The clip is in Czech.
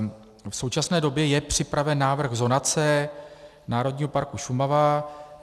V současné době je připraven návrh zonace Národního parku Šumava.